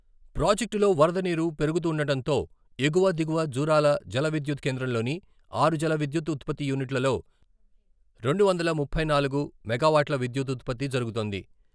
ప్రాజెక్టులో వరద నీరు పెరుగుతుండటంతో....ఎగువ, దిగువ జూరాల జల విద్యుత్ కేంద్రంలోని ఆరు జల విద్యుత్తు ఉత్పత్తి యూనిట్లలో రెండు వందల ముప్పై నాలుగు మెగావాట్ల విద్యుత్ ఉత్పత్తి జరుగుతోంది.